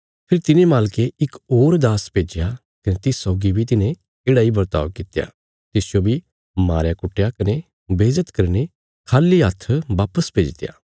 फेरी तिने मालके इक होर दास भेज्या कने तिस सौगी बी तिन्हे येढ़ा इ बरताव कित्या तिसजो बी मारया कुट्टया कने बेज्जत करीने खाली हत्थ वापस भेजित्या